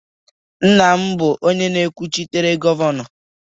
Nna m bụ ọnụ na-ekwuchitere Gọvanọ